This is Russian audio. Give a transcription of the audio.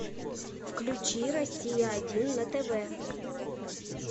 включи россия один на тв